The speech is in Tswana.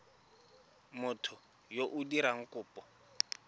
motho yo o dirang kopo